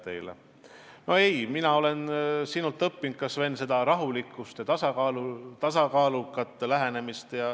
Tegelikult mina olen sinult, Sven, õppinud rahulikkust ja tasakaalukat lähenemist.